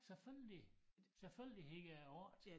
Selvfølgelig selvfølgelig hed det 8